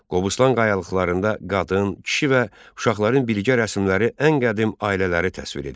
Qobustan qayalıqlarında qadın, kişi və uşaqların birgə rəsmləri ən qədim ailələri təsvir edir.